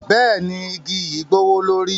Bẹẹni, igi yi gbowolori.